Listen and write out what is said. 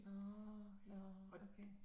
Nåh nåh okay